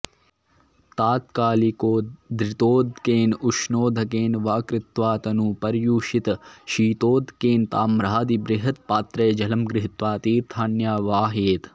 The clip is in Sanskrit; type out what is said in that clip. तात्कालिकोद्धृतोदकेन उष्णोदकेन वा कृत्वा त नु पर्युषितशीतोदकेन ताम्रादिबृहत्पात्रे जलं गृहीत्वा तीर्थान्यावाहयेत्